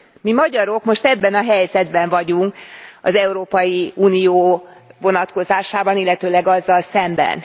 Mi magyarok most ebben a helyzetben vagyunk az Európai Unió vonatkozásában, illetőleg azzal szemben.